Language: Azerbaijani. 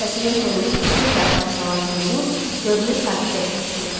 Səsinin tonunu bir xeyli aşağı salan Seymur görünür sakitləşmişdi.